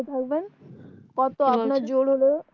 কত আপনার